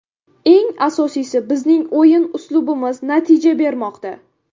Eng asosiysi, bizning o‘yin uslubimiz natija bermoqda.